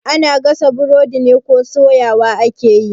Ana gasa burodi ne ko soyawa ake yi?